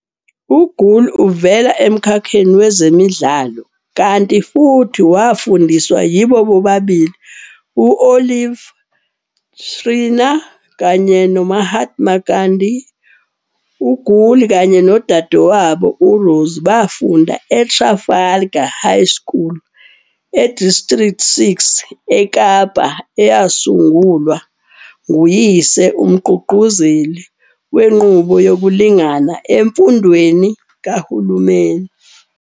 U-Gool uvela emkhakheni wezidlamlilo kanti futhi wafundiswa yibo bobabili u-Olive Schreiner kanye no- Mahatma Gandhi. U-Gool kanye nodadewabo, u-Rosie, bafunda e-Trafalgar High School e-District Six eKapa eyasungulwa nguyise, umgqugquzeli wenqubo yokulingana emfundweni kahulumeni.